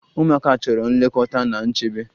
Ụmụaka chọrọ nlekọta na nchebe.